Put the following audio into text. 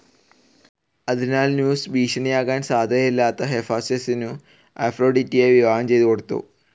അതിനാൽ സ്യൂസ് ഭീഷണിയാകാൻ സാധ്യതയില്ലാത്ത ഹെഫാസ്റ്റസിനു അഫ്രോഡിറ്റിയെ വിവാഹം ചെയ്തുകൊടുത്തു.